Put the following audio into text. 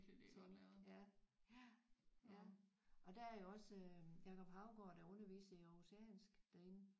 Tænk ja ja ja og der er jo også øh Jacob Haugaard der underviser i aarhusiansk derinde